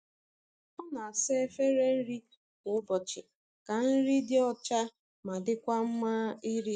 O na-asa efere nri kwa ụbọchị ka nri dị ọcha ma dịkwa mma iri.